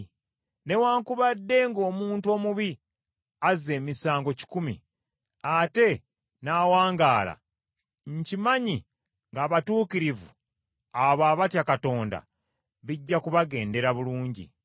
Newaakubadde ng’omuntu omubi azza emisango kikumi, ate n’awangaala, nkimanyi ng’abatuukirivu, abo abatya Katonda bijja kubagendera bulungi.